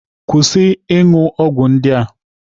Kwụsị ịṅụ ọgwụ ndị a!